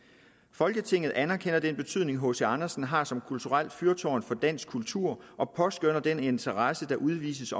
folketinget anerkender den betydning hc andersen har som kulturelt fyrtårn for dansk kultur og påskønner den interesse der udvises